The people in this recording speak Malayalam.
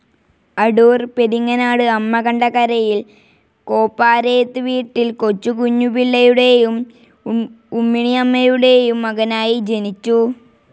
അടൂർ പെരിങ്ങനാട് അമ്മകണ്ട കരയിൽ കോപ്പാരേത്തു വീട്ടിൽ കൊച്ചുകുഞ്ഞു പിള്ളയുടെയും ഉമ്മിണിയമ്മയുടെയും മകനായി ജനിച്ചു.